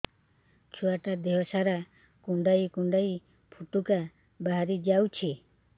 ଛୁଆ ଟା ଦେହ ସାରା କୁଣ୍ଡାଇ କୁଣ୍ଡାଇ ପୁଟୁକା ବାହାରି ଯାଉଛି